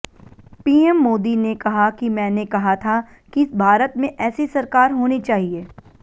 PM Modi ने कहा कि मैंने कहा था कि भारत में ऐसी सरकार होनी चाहिए